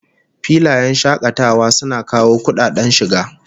Filayen shakatawa suna kawo kudaden shiga